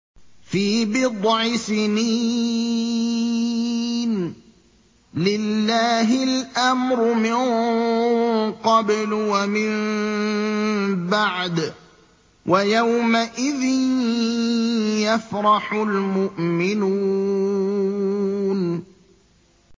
فِي بِضْعِ سِنِينَ ۗ لِلَّهِ الْأَمْرُ مِن قَبْلُ وَمِن بَعْدُ ۚ وَيَوْمَئِذٍ يَفْرَحُ الْمُؤْمِنُونَ